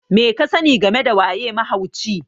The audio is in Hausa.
me kasani game da waye mahauci?